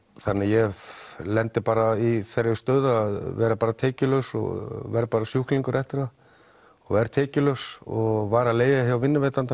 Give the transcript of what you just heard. þannig ég lendi bara í þeirri stöðu að vera tekjulaus og vera sjúklingur eftir það verð tekjulaus og var að leigja hjá vinnuveitanda